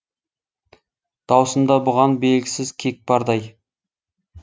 даусында бұған белгісіз кек бардай